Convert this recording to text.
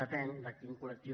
depèn de quin collem